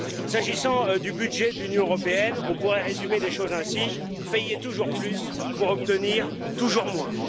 S'agissant du budget de l'Union européenne, on pourrait résumer les choses ainsi payer toujours plus pour obtenir toujours moins.